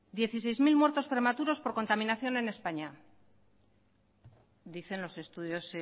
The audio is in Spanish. dieciséis mil muertos prematuros por contaminación en españa dicen los estudios